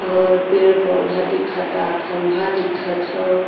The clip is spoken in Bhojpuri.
और पेड़ पौधा दिखाता। खंभा दिखत हवो।